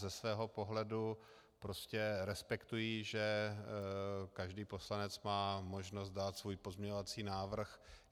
Ze svého pohledu prostě respektuji, že každý poslanec má možnost dát svůj pozměňovací návrh.